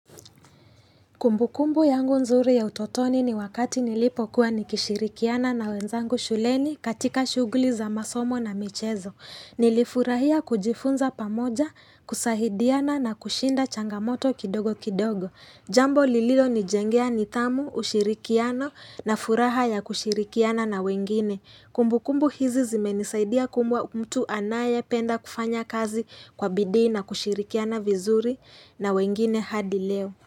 Kumbukumbu yangu nzuri ya utotoni ni wakati nilipo kuwa nikishirikiana na wenzangu shuleni katika shughuli za masomo na michezo. Nilifurahia kujifunza pamoja, kusahidiana na kushinda changamoto kidogo kidogo. Jambo lililonijengea nidhamu, ushirikiano na furaha ya kushirikiana na wengine. Kumbukumbu hizi zimenisaidia kuwa mtu anayependa kufanya kazi kwa bidii na kushirikiana vizuri na wengine hadi leo.